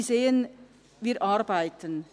Sie sehen: Wir arbeiten.